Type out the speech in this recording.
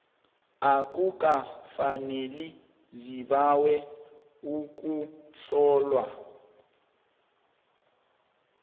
akukafaneli zibawe ukuhlolwa